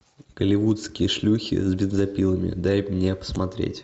голливудские шлюхи с бензопилами дай мне посмотреть